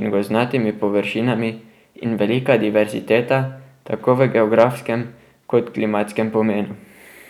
in gozdnatimi površinami in velika diverziteta tako v geografskem kot klimatskem pomenu.